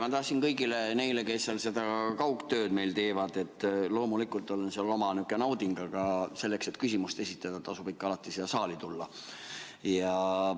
Ma tahtsin öelda kõigile neile, kes seda kaugtööd meil teevad, et loomulikult on seal oma nihukene nauding, aga selleks, et küsimust esitada, tasub ikka alati siia saali tulla.